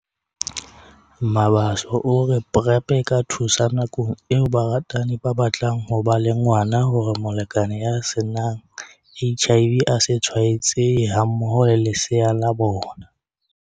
Mabaso o re PrEP e ka thusa nakong eo baratani ba batlang ho ba le ngwana hore molekane ya se nang HIV a se tshwaetsehe hammoho le lesea la bona.